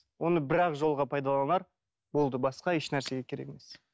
оны бір ақ жылға пайдаланар болды басқа еш нәрсеге керек емес